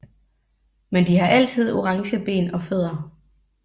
Men de har altid orange ben og fødder